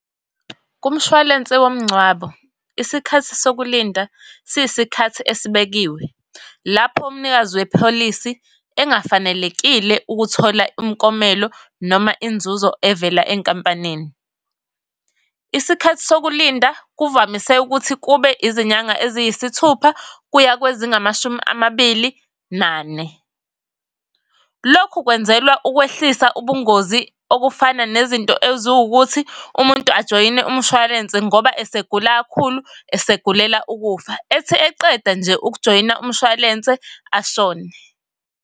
Kumshwalense womngcwabo, isikhathi sokulinda siyisikhathi esibekiwe, lapho umnikazi wepholisi engafanelekile ukuthola umkomelo noma inzuzo evela enkampanini. Isikhathi sokulinda kuvamise ukuthi kube izinyanga eziyisithupha kuya kwezingamashumi amabili nane. Lokhu kwenzelwa ukwehlisa ubungozi okufana nezinto eziwu ukuthi umuntu ajoyine umshwalense ngoba esegula kakhulu, esegulela ukufa. Ethi eqeda nje ukujoyina umshwalense ashone.